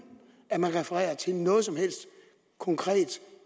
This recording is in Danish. at man refererer til noget som helst konkret